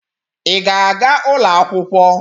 Ị ga-aga ụlọ akwụkwọ?.